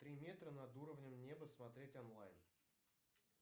три метра над уровнем неба смотреть онлайн